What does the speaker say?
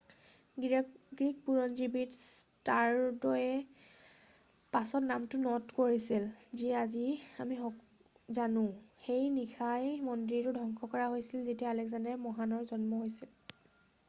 Greek বুৰঞ্জীবিদ ষ্টাৰড'য়ে পাছত নামটো ন'ট কৰিছিল যি আজি আমি জানো৷ সেই নিশাই মন্দিৰটো ধ্বংস কৰা হৈছিল যেতিয়া আলেকজেণ্ডাৰ মহানৰ জন্ম হৈছিল৷